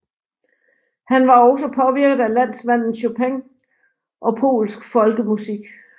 Han var også påvirket af landsmanden Chopin og polsk folkemusik